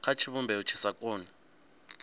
kha tshivhumbeo tshi sa koni